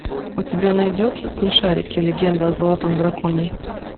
у тебя найдется смешарики легенда о золотом драконе